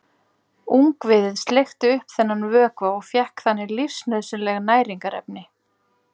Ungviðið sleikti upp þennan vökva og fékk þannig lífsnauðsynleg næringarefni.